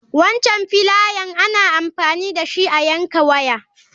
Wancan filayen ana amfani dashi a yanka waya.